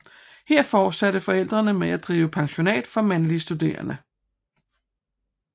Her fortsatte forældrene med at drive pensionat for mandlige studerende